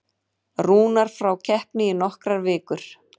Rúnar frá keppni í nokkrar vikur